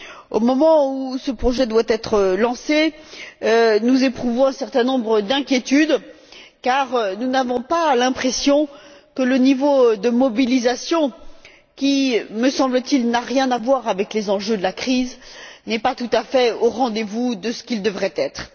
Au moment où ce projet doit être lancé, nous éprouvons un certain nombre d'inquiétudes car nous n'avons pas l'impression que le niveau de mobilisation qui, me semble t il, n'a rien à voir avec les enjeux de la crise, n'est pas tout à fait au rendez vous de ce qu'il devrait être.